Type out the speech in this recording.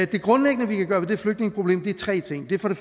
det grundlæggende vi kan gøre ved det flygtningeproblem er tre ting det er for det